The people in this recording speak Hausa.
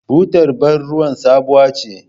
Butar bar ruwan sabuwa ce.